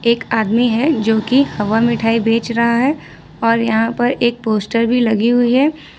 एक आदमी है जो की हवा मिठाई बेच रहा है और यहां पर एक पोस्टर भी लगी हुई है।